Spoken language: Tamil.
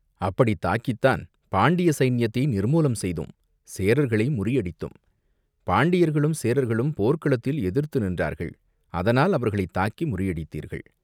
"அப்படித் தாக்கித்தான் பாண்டிய சைன்யத்தை நிர்மூலம் செய்தோம், சேரர்களை முறியடித்தோம்." "பாண்டியர்களும் சேரர்களும் போர்க்களத்தில் எதிர்த்து நின்றார்கள், அதனால் அவர்களைத் தாக்கி முறியடித்தீர்கள்.